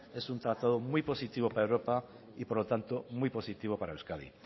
es un tratado muy positivo para europa y por lo tanto muy positivo para euskadi